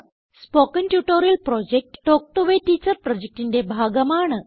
spoken tutorial project talk to a teacher പ്രൊജക്റ്റിന്റെ ഭാഗമാണ്